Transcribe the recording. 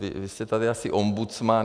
Vy jste tady asi ombudsman.